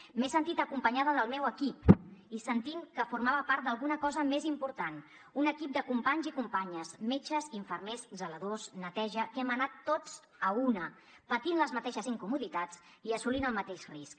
m’he sentit acompanyada del meu equip i sentint que formava part d’alguna cosa més important un equip de companys i companyes metges infermers zeladors neteja que hem anat tots a una patint les mateixes incomoditats i assumint el mateix risc